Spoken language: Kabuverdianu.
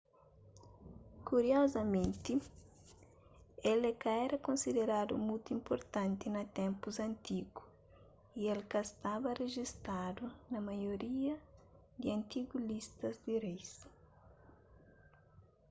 kuriozamenti el é ka éra konsideradu mutu inpurtanti na ténpus antigu y el ka staba rejistadu na maioria di antigu listas di reis